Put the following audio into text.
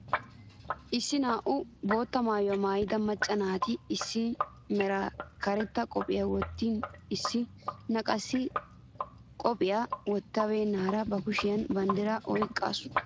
Issi naa"u bootta maayuwaa maayida macca naati issina meran karetta qophphiyaa wottin issina qassi qophphiyaa wottabeenara ba kushiyaan banddiraa oyqaasu.